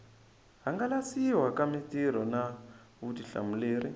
hangalasiwa ka mitirho na vutihlamuleri